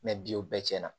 biw bɛɛ tiɲɛna